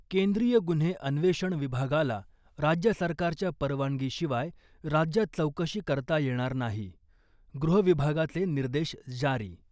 केंद्रीय गुन्हे अन्वेषण विभागाला राज्य सरकारच्या परवानगीशिवाय राज्यात चौकशी करता येणार नाही, गृहविभागाचे निर्देश जारी .